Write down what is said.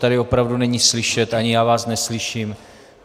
Tady opravdu není slyšet, ani já vás neslyším.